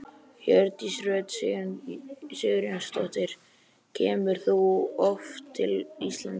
Hjördís Rut Sigurjónsdóttir: Kemur þú oft til Íslands?